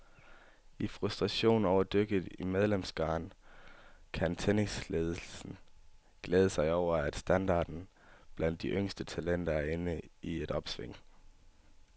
I frustrationen over dykket i medlemskaren kan tennisledelsen glæde sig over, at standarden blandt de yngste talenter er inde i et opsving.